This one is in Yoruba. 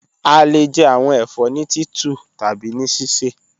A le jẹ awọn ẹfọ ni titu tabi ni sisẹ.